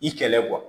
I kɛlɛ kuwa